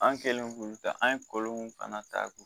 An kɛlen k'olu ta an ye kɔlɔn fana ta k'u